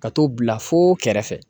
Ka t'o bila foo kɛrɛfɛ